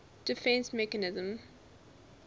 defence mechanism